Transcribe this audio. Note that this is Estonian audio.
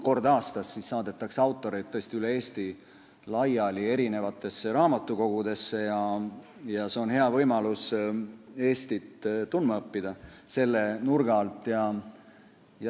Kord aastas saadetakse autoreid tõesti üle Eesti raamatukogudesse laiali ja see on hea võimalus õppida Eestit tundma selle nurga alt.